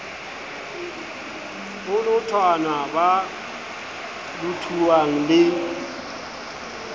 ho lothanwa ba lothuwang ie